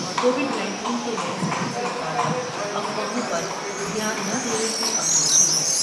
Covid nineteen کے نئے strain سے متعلق افواہوں پر دھیان نہ دینے کی اپیل کی ہے ۔